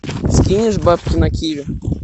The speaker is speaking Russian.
скинешь бабки на киви